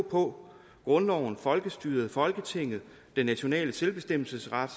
på grundloven folkestyret folketinget og den nationale selvbestemmelsesret